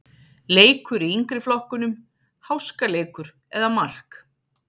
Leikur í yngri flokkunum-Háskaleikur eða mark?